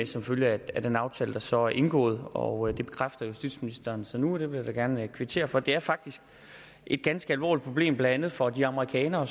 som følge af den aftale der så er indgået og det bekræfter justitsministeren så nu vil jeg da gerne kvittere for det det er faktisk et ganske alvorligt problem blandt andet for de amerikanere